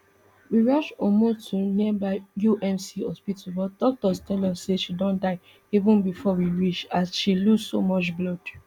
we rush ummu to nearby umc hospital but doctors tell us say she don die even bifor we reach as she lose so much blood